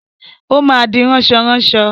Ó má di ránsọránaọ.